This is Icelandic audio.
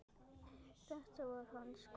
Þetta var hans kveðja.